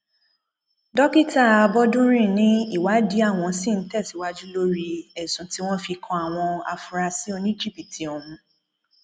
dókítà àbọdúnrin ni ìwádìí àwọn ṣì ń tẹsíwájú lórí ẹsùn tí wọn fi kan àwọn afurasí oníjìbìtì ọhún